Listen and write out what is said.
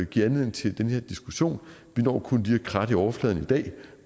give anledning til den her diskussion vi når kun lige at kratte i overfladen i dag